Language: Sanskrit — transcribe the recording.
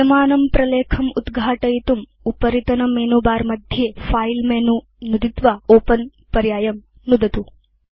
विद्यमानं प्रलेखम् उद्घाटयितुम् उपरितनमेनुबारमध्ये फिले मेनु नुदित्वा ओपेन पर्यायं नुदतु